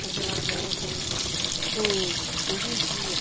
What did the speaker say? Com zelador, com com com vigia.